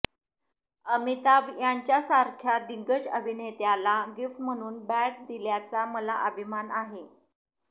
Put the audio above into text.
अमिताभ यांच्यासारख्या दिग्गज अभिनेत्याला गिफ्ट म्हणून बॅट दिल्याचा मला अभिमान आहे